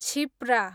Kshipra